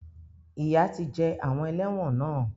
Ìyà ti jẹ àwọn ẹlẹ́wọ̀n náà.